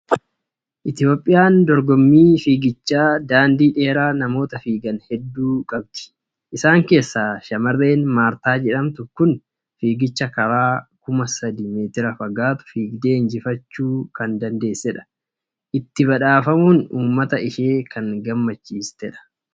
Itoophiyaan dorgommii fiigicha daandii dheeraa namoota fiigan hedduu qabdi. Isaan keessaa shamarreen Maartaa jedhamtu kun fiigicha karaa kuma sadii meetira fagaatu fiigdee injifachuu kan dandeessedha. Itti badhaafamuun uummata ishee kan gammachiistedha.